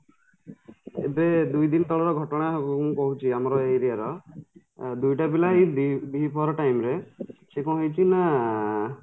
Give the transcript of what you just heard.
ଏବେ ଦୁଇ ଦିନ ତଳର ଘଟଣା ଉଁ ଉଁ କହୁଚି ଆମର ଏ area ର ଦୁଇଟା ପିଲା ଏଇ ଦ୍ୱିପହର time ରେ ସେ କ'ଣ ହେଇଚି ନା